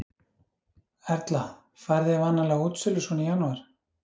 Erla: Farið þið vanalega á útsölur svona í janúar?